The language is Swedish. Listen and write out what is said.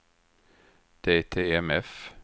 DTMF